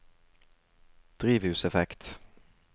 drivhuseffekt